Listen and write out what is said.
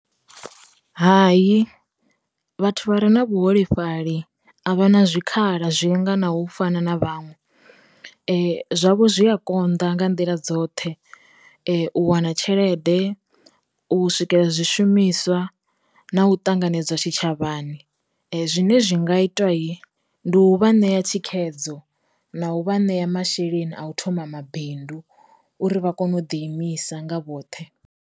Hai vhathu vha re na vhu holefhali a vha na zwikhala zwinga na u fana na vhaṅwe, zwavho zwi a konḓa nga nḓila dzoṱhe, u wana tshelede, u swikela zwi shumiswa, na u ṱanganedzwa tshi tshavhani. Zwine zwi nga itwa yi, ndi u vha ṋea thikhedzo na u vha ṋea masheleni a u thoma mabindu uri vha kone u ḓi imisa nga vhoṱhe.